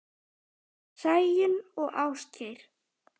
Sæunn og Ásgeir.